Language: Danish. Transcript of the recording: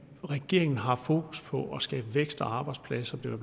at regeringen har fokus på at skabe vækst og arbejdspladser som